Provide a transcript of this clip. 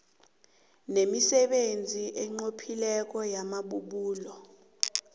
nemisebenzi enqophileko yamabubulo